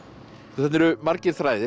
þetta eru margir þræðir